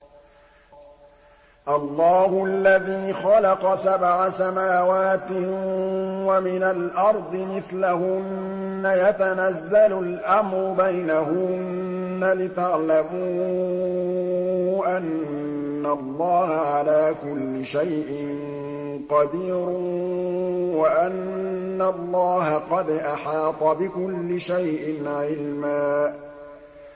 اللَّهُ الَّذِي خَلَقَ سَبْعَ سَمَاوَاتٍ وَمِنَ الْأَرْضِ مِثْلَهُنَّ يَتَنَزَّلُ الْأَمْرُ بَيْنَهُنَّ لِتَعْلَمُوا أَنَّ اللَّهَ عَلَىٰ كُلِّ شَيْءٍ قَدِيرٌ وَأَنَّ اللَّهَ قَدْ أَحَاطَ بِكُلِّ شَيْءٍ عِلْمًا